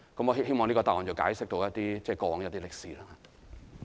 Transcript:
我希望這個答案能夠解釋過往一些歷史。